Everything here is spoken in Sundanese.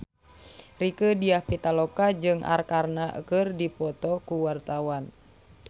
Rieke Diah Pitaloka jeung Arkarna keur dipoto ku wartawan